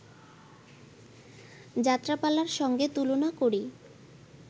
যাত্রাপালার সঙ্গে তুলনা করি